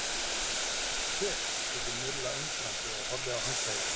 Hver? spurði Milla undrandi og horfði á handklæðið.